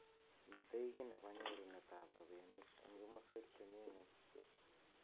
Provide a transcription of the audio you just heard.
Mitei ki nebo nyorunet ab robinik eng kimoswek chemi ng'uny.